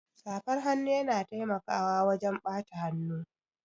Safar hannu yana taimakawa wajan ɓata hannu